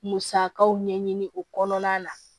Musakaw ɲɛɲini o kɔnɔna na